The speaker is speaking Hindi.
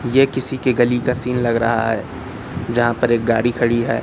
ये किसी के गली का सीन लग रहा है जहां पर एक गाड़ी खड़ी है।